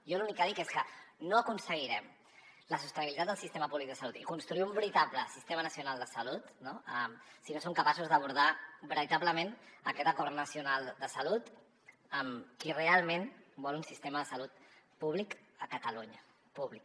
jo l’únic que dic és que no aconseguirem la sostenibilitat del sistema públic de salut i construir un veritable sistema nacional de salut no si no som capaços d’abordar veritablement aquest acord nacional de salut amb qui realment vol un sistema de salut públic a catalunya públic